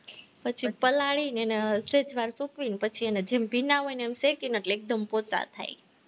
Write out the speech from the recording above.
પછી એને પલાળીને એને સહેજ વાર સૂકવીને પછી એને જેમ ભીના હોય ને એમ શેકીને એટલે એમ પોચા થાય,